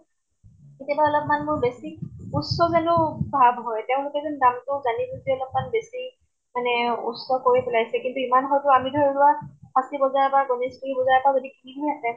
কেতিয়াবা অলপমান মোৰ বেছি উচ্চ যেনো ভাব হয় । তেওঁলোকে যেন দামতো জানি বুজি অলপমান বেছি মানে উচ্চ কৰি পেলাইছে । কিন্তু ইমান হয়্তু আমি ধৰি লোৱা ফাঁছী বজাৰ বা গণেশগুৰি বজাৰ পা যদি কিনিলো হেঁতেন